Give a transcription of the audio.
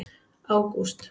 ágúst